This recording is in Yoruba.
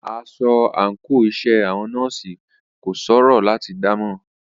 Aṣọ àńkò iṣẹ́ àwọn nọ́ọ̀sì kò ṣòro láti dámọ̀.